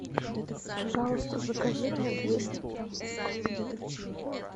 пожалуйста закажи мне двести грамм лука